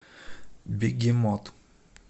бегемот